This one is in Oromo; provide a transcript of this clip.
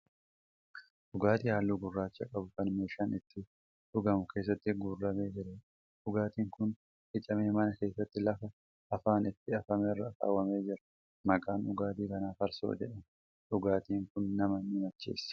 Dhugaatii halluu gurraacha qabu Kan meeshaa ittiin dhugamu keessatti guurramee jiruudha. dhugaatiin Kuni qicamee mana keessatti lafa afaan itti afamerra kaawwamee jira. maqaan dhugaatii kanaa farsoo jedhama dhugaatiin kun nama ni macheessa.